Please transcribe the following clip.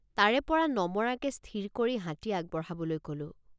তাৰেপৰা নমৰাকে স্থিৰ কৰি হাতী আগবঢ়াবলৈ কলোঁ।